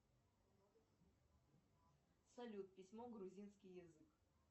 салют письмо грузинский язык